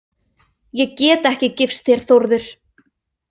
Ég get ekki gifst þér, Þórður